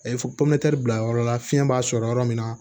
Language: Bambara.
A ye popilɛ bila yɔrɔ la fiɲɛ b'a sɔrɔ yɔrɔ min na